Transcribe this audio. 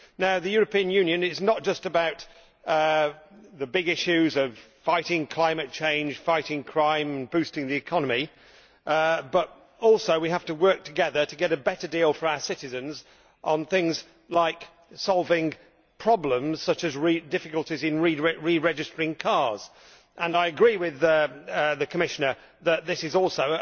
The European Union is not just about the big issues of fighting climate change, fighting crime, boosting the economy, but we also have to work together to get a better deal for our citizens on things like solving problems such as difficulties in re registering cars. I agree with the Commissioner that this is also